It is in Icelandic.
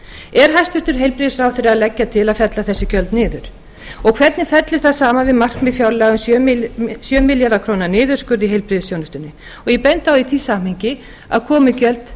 er hæstvirtur heilbrigðisráðherra að leggja til að fella þessi gjöld niður og hvernig fellur það saman við markmið fjárlaga um sjö milljarða króna niðurskurð í heilbrigðisþjónustunni ég bendi á í því samhengi að komugjöld